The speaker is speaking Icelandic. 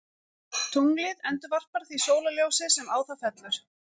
Tunglið endurvarpar því sólarljósi sem á það fellur.